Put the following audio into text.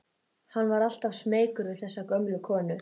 Hann var alltaf smeykur við þessa gömlu konu.